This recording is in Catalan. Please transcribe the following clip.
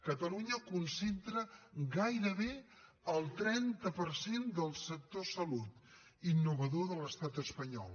catalunya concentra gairebé el trenta per cent del sector salut innovador de l’estat espanyol